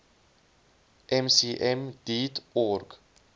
mcm deat org